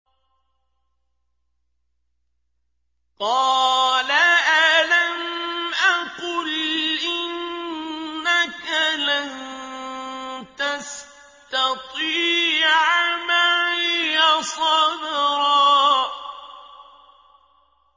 قَالَ أَلَمْ أَقُلْ إِنَّكَ لَن تَسْتَطِيعَ مَعِيَ صَبْرًا